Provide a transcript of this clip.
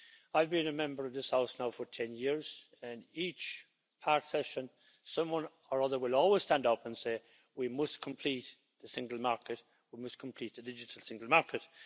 I've been a member of this House now for 10 years, and each part session, someone or other will always stand up and say We must complete the single market. We must complete the digital single market.'